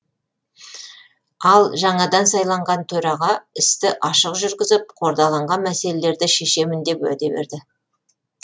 ал жаңадан сайланған төраға істі ашық жүргізіп қордаланған мәселелерді шешемін деп уәде берді